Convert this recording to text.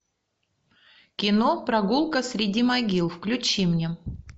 кино прогулка среди могил включи мне